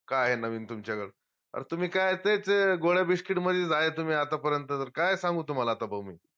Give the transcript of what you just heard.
का आहे नवीन तुमच्याकड? अन तुम्ही काय तेच गोळ्या Biscuit मधेच आहे तुम्ही आता पर्यंत तर काय सांगू तुम्हाला आता भाऊ मी